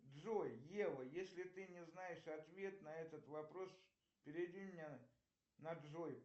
джой ева если ты не знаешь ответ на этот вопрос переведи меня на джой